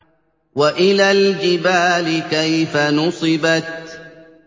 وَإِلَى الْجِبَالِ كَيْفَ نُصِبَتْ